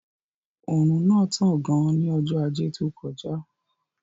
Òrùn náà tán gan ní ọjọ́ ajé tó kọjá